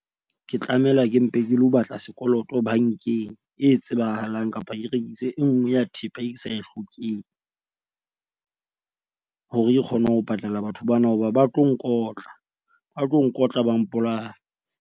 Ke tlamela ke mpe ke lo batla sekoloto bank-eng e tsebahalang, kapa ke rekise e nngwe ya thepa e ke sa e hlokeng hore ke kgone ho patala batho bana. Hoba ba tlo nkotla, ba tlo nkotla ba mpolaya.